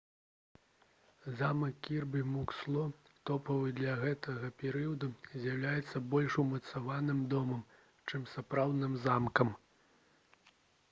замак кірбі муксло тыповы для гэтага перыяду з'яўляецца больш умацаваным домам чым сапраўдным замкам